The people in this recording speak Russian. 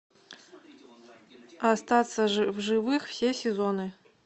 остаться в живых все сезоны